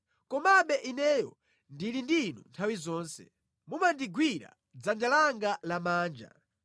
Komabe ineyo ndili ndi Inu nthawi zonse; mumandigwira dzanja langa lamanja.